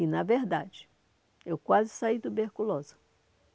E, na verdade, eu quase saí tuberculosa.